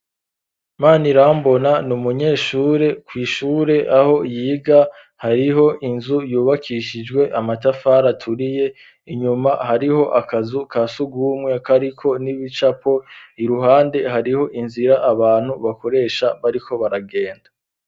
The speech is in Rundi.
imana irambona ni umunyeshure ku ishure aho yiga hariho inzu yubakishijwe amatafara turiye inyuma hariho akazu ka sugumwe kariko n'ibicapo iruhande hariho inzira abantu bakoresha bariko baragenda.